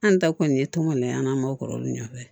An ta kɔni ye tɔn kɔni ye an ma kɔrɔlen olu ɲɛfɛ